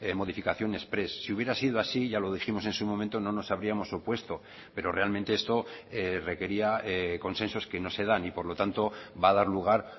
modificación exprés si hubiera sido así ya lo dijimos en su momento no nos habríamos opuesto pero realmente esto requería consensos que no se dan y por lo tanto va a dar lugar